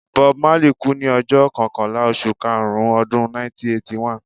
Bob Marley kú ní ọjọ́ kọkànlá oṣù karùn-ún Ọdún 1981.